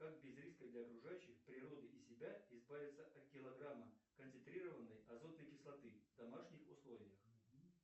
как без риска для окружающих природы и себя избавиться от килограмма концентрированной азотной кислоты в домашних условиях